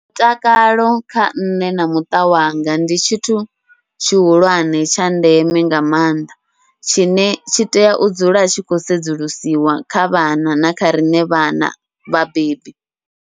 Mutakalo kha nṋe na muṱa wanga ndi tshithu tshihulwane tsha ndeme nga maanḓa, tshine tshi tea u dzula tshi khou sedzulusiwa kha vhana na kha riṋe vhana vhabebi.